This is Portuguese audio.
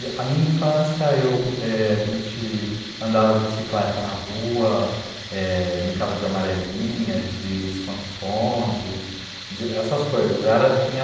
A minha infância, a gente andava de bicicleta na rua, brincava de amarelinha, de esconde-esconde, essas coisas.